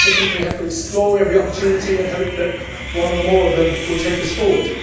I think we just simply have to explore every opportunity and hope that one or more of them will take us forward.